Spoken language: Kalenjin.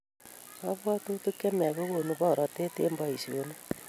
Kabwatutik chemiach kokonu borotet eng boishonik